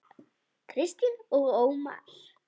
Kristín og Ómar.